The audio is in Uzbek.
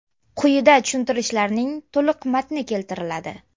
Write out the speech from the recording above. Quyida tushuntirishlarning to‘liq matni keltiriladi.